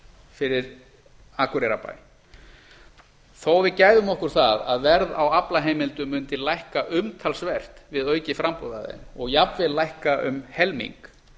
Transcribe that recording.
fyrir akureyrarbæ þó við gæfum okkur það að verða á aflaheimildum mundi lækka umtalsvert við aukið framboð af þeim og jafnvel lækka um helming